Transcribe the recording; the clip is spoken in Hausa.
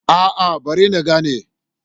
A'a bari na gani